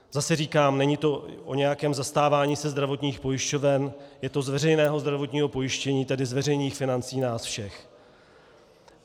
Zase říkám, není to o nějakém zastávání se zdravotních pojišťoven, je to z veřejného zdravotního pojištění, tedy z veřejných financí nás všech.